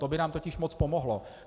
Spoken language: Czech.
To by nám totiž moc pomohlo.